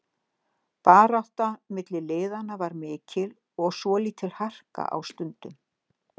Baráttan milli liðanna var mikil og svolítil harka á stundum.